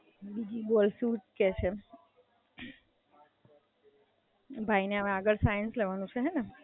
બીજું બોલ શું કે છે? ભાઈને હવે આગળ સાઇન્સ લેવાનું છે ને?